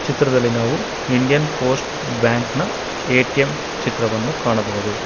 ಚಿತ್ರದಲ್ಲಿ ನಾವು Indian post bank ನ ಎ_ಟಿ_ಎಂ ಚಿತ್ರವನ್ನು ಕಾಣಬಹುದು.